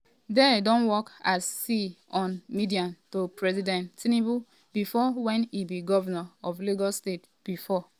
dare don work as sa on media to president tinubu bifor wen e be govnor of lagos state bifor.